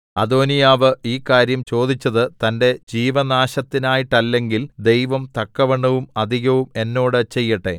അദോനീയാവ് ഈ കാര്യം ചോദിച്ചത് തന്റെ ജീവനാശത്തിനായിട്ടല്ലെങ്കിൽ ദൈവം തക്കവണ്ണവും അധികവും എന്നോട് ചെയ്യട്ടെ